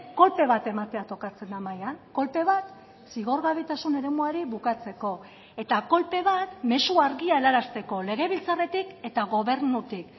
kolpe bat ematea tokatzen da mahaian kolpe bat zigorgabetasun eremuari bukatzeko eta kolpe bat mezu argia helarazteko legebiltzarretik eta gobernutik